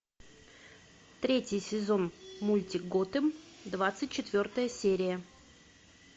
третий сезон мультик готэм двадцать четвертая серия